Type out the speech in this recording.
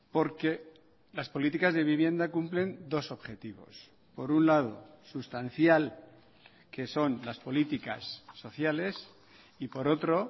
porque las políticas de vivienda cumplen dos objetivos por un lado sustancial que son las políticas sociales y por otro